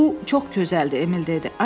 Bu çox gözəldir, Emil dedi.